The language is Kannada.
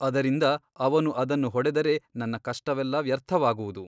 ಅದರಿಂದ ಅವನು ಅದನ್ನು ಹೊಡೆದರೆ ನನ್ನ ಕಷ್ಟವೆಲ್ಲ ವ್ಯರ್ಥವಾಗುವುದು.